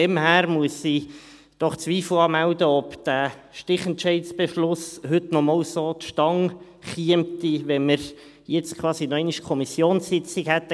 Daher muss ich doch Zweifel anmelden, ob dieser Stichentscheid-Beschluss heute noch einmal so zustande käme, wenn man jetzt quasi noch einmal eine Kommissionssitzung hätte.